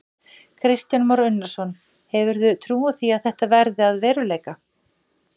Kristján Már Unnarsson: Hefurðu trú á því að þetta verði að veruleika?